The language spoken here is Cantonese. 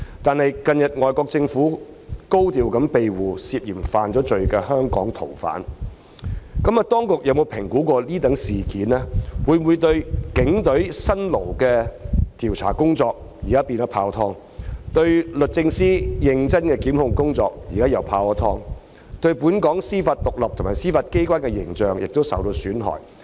可是，近日外國政府高調庇護涉嫌犯罪的香港逃犯，當局有否評估此事件會否令警隊辛勞的調查工作，即時泡湯；令律政司認真的檢控工作，亦見泡湯；也令本港司法獨立及司法機關的形象受到損害？